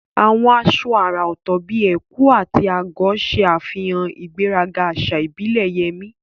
Àwọn aṣọ àrà ọ̀tọ̀ bíi ẹ̀kú/agọ̀ ṣe àfihàn ìgbéraga àṣà ìbílẹ̀ Yemi